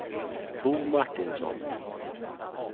Bo Martinsson